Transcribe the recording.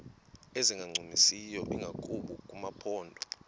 ezingancumisiyo ingakumbi kumaphondo